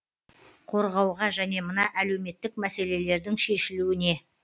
қорғауға және мына әлеуметтік мәселелердің шешілуіне